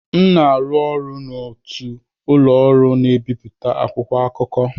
M na-arụ ọrụ n'otu ụlọ ọrụ na-ebipụta akwụkwọ akụkọ.